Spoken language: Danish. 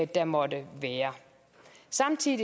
der måtte være samtidig